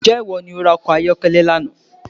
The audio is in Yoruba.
Ǹjẹ́ ìwọ ní o ra ọkọ̀ ayọ́kẹ́lẹ́ lánàá